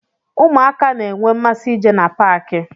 Ụmụaka n'enwe mmasị ije na paaki.